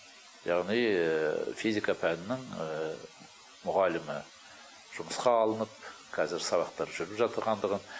яғни физика пәнінің мұғалімі жұмысқа алынып қазір сабақтар жүріп жатырғандығын